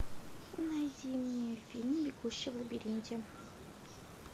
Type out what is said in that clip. найди мне фильм бегущий в лабиринте